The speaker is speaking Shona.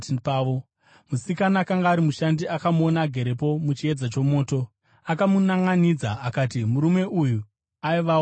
Musikana akanga ari mushandi akamuona agerepo muchiedza chomoto. Akamunanʼanidza akati, “Murume uyu aivawo naJesu.”